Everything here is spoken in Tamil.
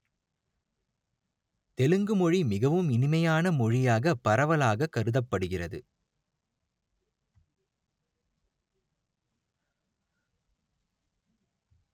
தெலுங்கு மொழி மிகவும் இனிமையான மொழியாகப் பரவலாக கருதப்படுகிறது